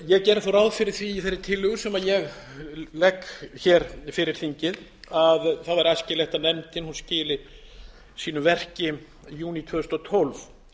ég geri þá ráð fyrir því í þeirri tillögu sem ég legg hér fyrir þingið að það væri æskilegt að nefndin skili sínu verki í júní tvö þúsund og tólf